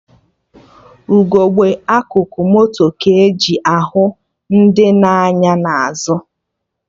Ugegbe akụkụ moto ka-eji ahụ ndị na-anya n'azụ